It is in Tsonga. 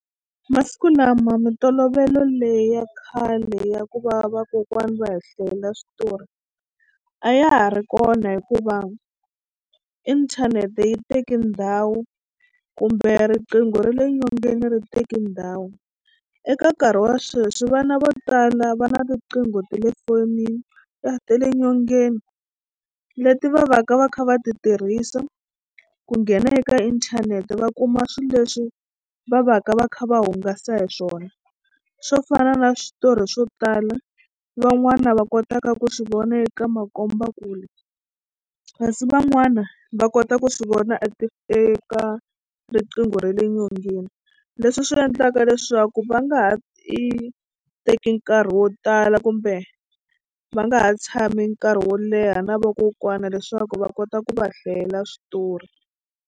Masiku lama mintolovelo leyi ya khale ya ku va vakokwani va hi hlayela switori a ya ha ri kona hikuva inthanete yi teke ndhawu kumbe riqingho ra le nyongeni ri teke ndhawu. Eka nkarhi wa sweswi vana vo tala va na riqingho ta le fonini ta ta le nyongeni leti va va ka va kha va ti tirhisa ku nghena eka inthanete va kuma swilo leswi va va ka va kha va hungasa hi swona swo fana na switori swo tala van'wana va kotaka ku swi vona eka makombakule kasi van'wana va kota ku swi vona a ti eka riqingho ra le nyongeni leswi swi endlaka leswaku va nga ha i teki nkarhi wo tala kumbe va nga ha tshami nkarhi wo leha na vakokwana leswaku va kota ku va hlayela switori.